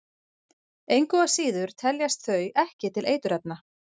Engu að síður teljast þau ekki til eiturefna.